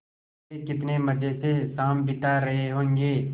वे कितने मज़े से शाम बिता रहे होंगे